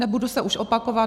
Nebudu se už opakovat.